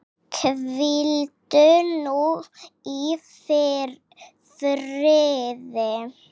Hvíldu nú í friði.